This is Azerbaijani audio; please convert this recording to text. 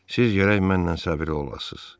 Siz gərək mənlə səbirli olasınız.